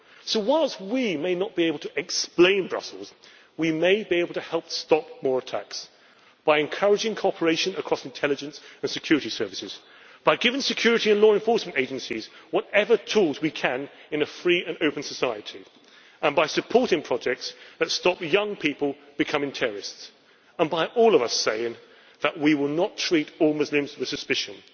So, whilst we may not be able to explain Brussels', we may be able to help stop more attacks by encouraging cooperation across intelligence and security services, by giving security and law enforcement agencies whatever tools we can in a free and open society and by supporting projects that stop young people becoming terrorists and by all of us saying that we will not treat all Muslims with suspicion.